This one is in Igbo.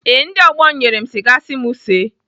Ee, ndị ọgbọ m nyere m siga si m see.